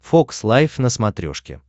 фокс лайф на смотрешке